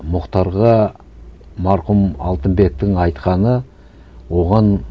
мұхтарға марқұм алтынбектің айтқаны оған